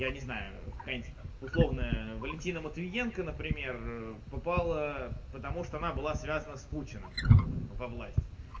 я не знаю какая-нибудь условная валентина матвиенко например попала потому что она была связана с путиным во власть